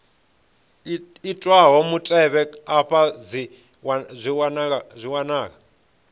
itwaho mutevhe afha dzi wanala